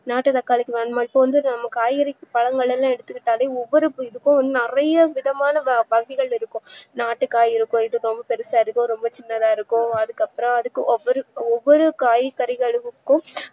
நாட்டு தக்காளிக்கு வேணுமா இப்போவந்து நம்ம காய்கறிக்கு பலமடங்கு எடுத்துகிட்டாலும் ஒவ்வொரு இதுக்கும் நறைய விதமான வகைகள் இருக்கும் நாட்டு காய் இருக்கு இதுபெருசா இருக்கு இது சின்னதா இருக்கும் அதுக்குஅப்றம் அப்டின்னு ஒவ்வொரு காய்கறிகளுக்கும்